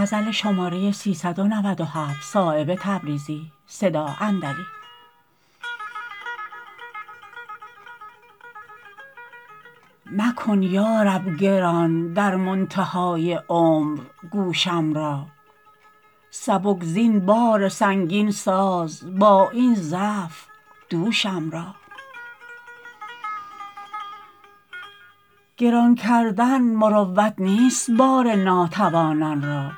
مکن یارب گران در منتهای عمر گوشم را سبک زین بار سنگین ساز با این ضعف دوشم را گران کردن مروت نیست بار ناتوانان را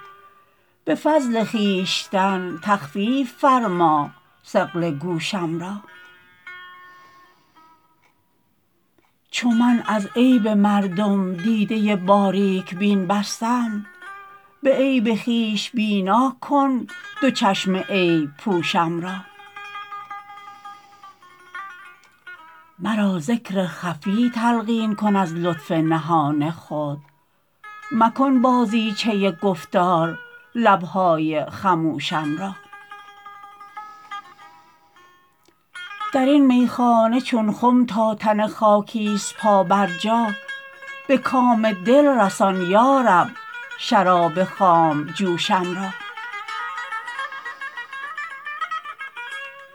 به فضل خویشتن تخفیف فرما ثقل گوشم را چو من از عیب مردم دیده باریک بین بستم به عیب خویش بینا کن دو چشم عیب پوشم را مرا ذکر خفی تلقین کن از لطف نهان خود مکن بازیچه گفتار لبهای خموشم را درین میخانه چون خم تا تن خاکی است پا بر جا به کام دل رسان یارب شراب خامجوشم را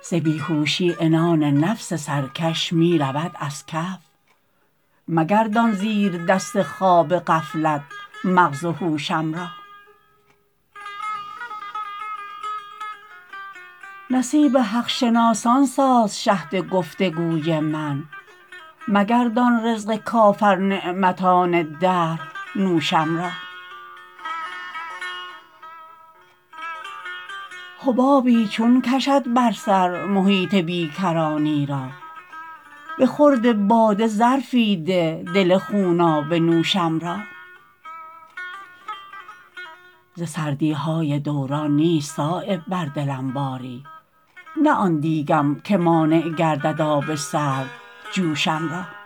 ز بیهوشی عنان نفس سرکش می رود از کف مگردان زیر دست خواب غفلت مغز هوشم را نصیب حق شناسان ساز شهد گفتگوی من مگردان رزق کافر نعمتان دهر نوشم را حبابی چون کشد بر سر محیط بیکرانی را به خورد باده ظرفی ده دل خونابه نوشم را ز سردی های دوران نیست صایب بر دلم باری نه آن دیگم که مانع گردد آب سرد جوشم را